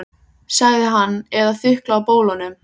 sagði hann, eða þukla á bólunum.